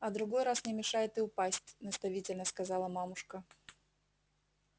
а другой раз не мешает и упасть наставительно сказала мамушка